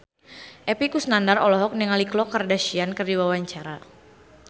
Epy Kusnandar olohok ningali Khloe Kardashian keur diwawancara